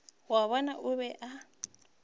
wa bona o be a